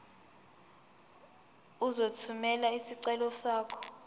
uzothumela isicelo sakho